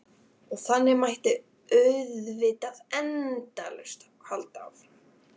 Og þannig mætti auðvitað endalaust halda áfram.